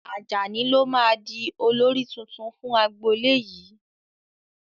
Ajani lo máa di olórí tuntun fún agbolé yìí